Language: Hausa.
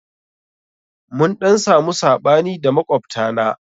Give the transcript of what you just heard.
Mun ɗan samu saɓani da makwabta na.